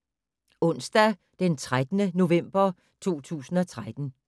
Onsdag d. 13. november 2013